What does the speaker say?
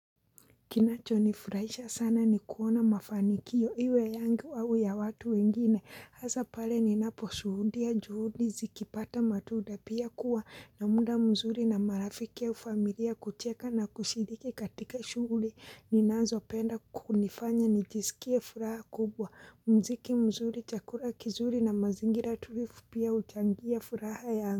Kinachonifurahisha sana ni kuona mafanikio iwe yangu au ya watu wengine, hasa pale ninaposhuhudia juhudi zikipata matunda pia kuwa na muda mzuri na marafiki ya au familia kucheka na kushiriki katika shughuli ninazopenda kunifanya nijisikie furaha kubwa, mziki mzuri chakula kizuri na mazingira tulifu pia huchangia furaha ya yangu.